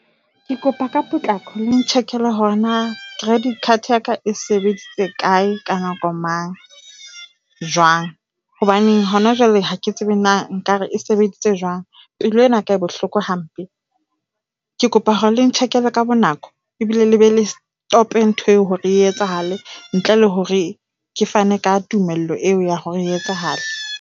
Ke kopa ka potlako le n-check-ele hore na credit card ya ka e sebeditse kae ka nako mang, jwang, hobane hona jwale ha ke tsebe na nkare e sebeditse jwang. Pelo ya ka e bohloko hampe. Ke kopa hore le ntjhekele ka bonako ebile le be le stop-e ntho eo hore e etsahale ntle le hore ke fane ka tumelo eo ya hore e etsahale.